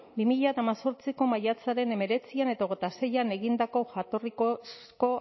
bi mila hemezortziko maiatzaren hemeretzian eta hogeita seian egindako jatorrizko